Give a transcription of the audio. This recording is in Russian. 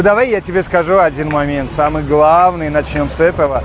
давай я тебе скажу один момент самый главный начнём с этого